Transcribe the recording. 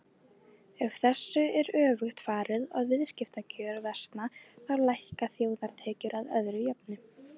Ef þessu er öfugt farið og viðskiptakjör versna þá lækka þjóðartekjur að öðru jöfnu.